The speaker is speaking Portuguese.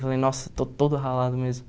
Falei, nossa, estou todo ralado mesmo.